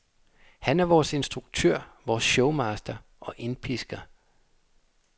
Han er vores instruktør, vores showmaster og indpisker.